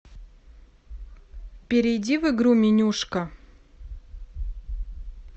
перейди в игру менюшка